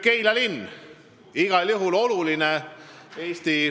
Keila linn on Eesti maastikul igal juhul oluline.